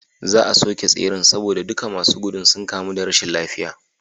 Za a soke tseren saboda duka masu gudu sun kamu da rashin lafiya